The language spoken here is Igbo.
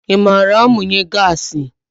I maara amunye gaasi?